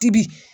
Tibi